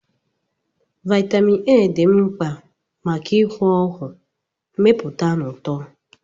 Vitamin A dị mkpa maka ihu ọhụụ, mmepụta na uto